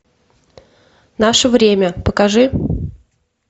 наше время покажи